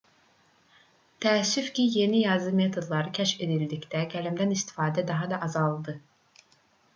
təəssüf ki yeni yazı metodları kəşf edildikcə qələmdən istifadə daha da azaldı